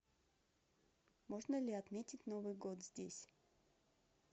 можно ли отметить новый год здесь